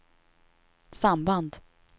samband